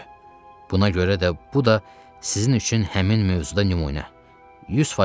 Buna görə də bu da sizin üçün həmin mövzuda nümunə 100% ola bilərdi.